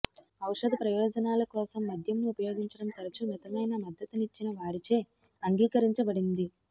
ఔషధ ప్రయోజనాల కోసం మద్యంను ఉపయోగించడం తరచూ మితమైన మద్దతునిచ్చిన వారిచే అంగీకరించబడింది